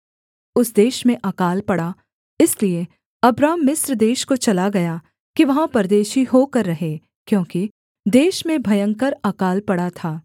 उस देश में अकाल पड़ा इसलिए अब्राम मिस्र देश को चला गया कि वहाँ परदेशी होकर रहे क्योंकि देश में भयंकर अकाल पड़ा था